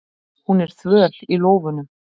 Hún er þvöl í lófunum.